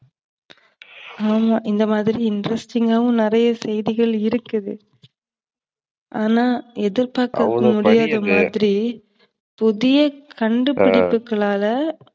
ஆமா இந்தமாதிரி interesting ஆவும் நறையா செய்திகள் இருக்குது. ஆனா புதிய கண்டு பிடிப்புகல்லால